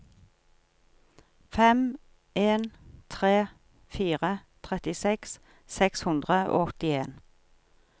fem en tre fire trettiseks seks hundre og åttien